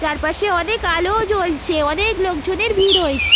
চারপাশে অনেক আলো ও জ্বলছে অনেক. লোকজনের ভিড় হয়েছ--